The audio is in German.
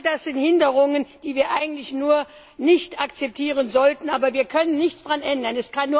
All das sind Hinderungen, die wir eigentlich nicht akzeptieren sollten, aber wir können nichts daran ändern.